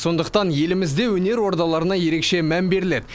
сондықтан елімізде өнер ордаларына ерекше мән беріледі